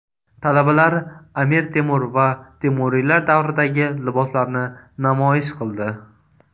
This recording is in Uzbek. Talabalar Amir Temur va temuriylar davridagi liboslarni namoyish qildi.